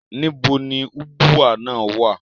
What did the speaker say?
Níbo ni Ubwa naa wa?